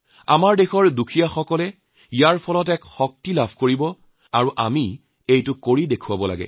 আমাৰ দেশৰ দৰিদ্ৰলোকসকলে এই কামৰ পৰা এক শক্তি পাব আৰু আমি সেয়া তাকে কৰা উচিত